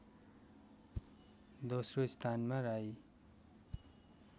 दोस्रो स्थानमा राई